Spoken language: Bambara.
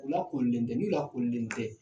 U lakoolilen tɛ ni o lakoolen tɛ